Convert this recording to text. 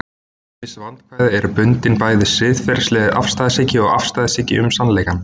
Ýmis vandkvæði eru bundin bæði siðferðilegri afstæðishyggju og afstæðishyggju um sannleikann.